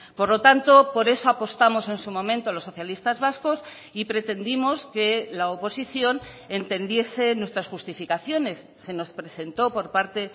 por lo tanto por eso apostamos en su momento los socialistas vascos y pretendimos que la oposición entendiese nuestras justificaciones se nos presentó por parte